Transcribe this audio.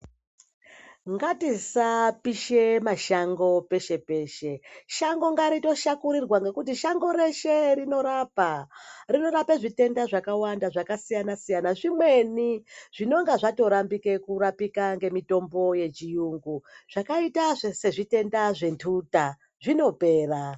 Ngatisapishe mashango peshe peshe, shango ngaritoshakurirwa ngekuti shango reshe rinorapa. Rinorape zvitenda zvakawanda zvakasiyana siyana zvimweni zvinenge zvatoramba kurapika ngemitombo yechiyungu zvakaita sezvitenda zvenduta zvinopera.